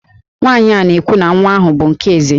Nwaanyị a na-ekwu na nwa ahụ bụ nke Eze